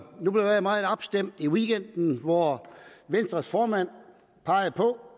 nu blev jeg meget opstemt i weekenden hvor venstres formand pegede på